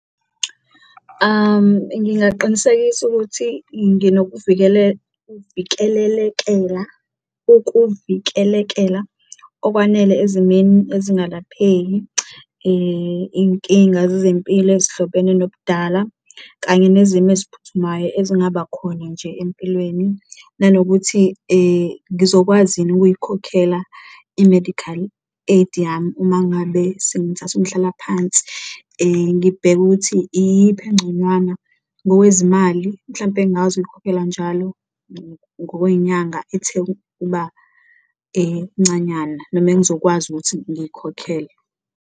Ngingaqinisekisa ukuthi ukuvikeleka okwanele ezimeni ezingalapheki, inkinga zezempilo ezihlobene nobudala kanye nezimo eziphuthumayo ezingaba khona nje empilweni, nanokuthi ngizokwazi yini ukuyikhokhela i-medical aid yami uma ngabe sengithatha umhlalaphansi. Ngibheke ukuthi iyiphi enconywana ngokwezimali, mhlawumpe engakwazi ukuyikhokhela njalo ngokwenyanga ethe ukuba ncanyana, noma engizokwazi ukuthi ngiyikhokhele.